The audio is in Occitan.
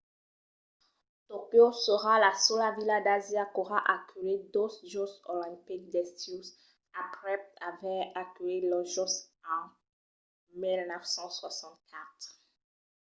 tòquio serà la sola vila d’asia qu’aurà aculhit dos jòcs olimpics d’estiu aprèp aver aculhit los jòcs en 1964